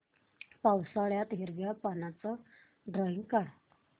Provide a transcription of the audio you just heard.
पावसाळ्यातलं हिरव्या पानाचं ड्रॉइंग काढ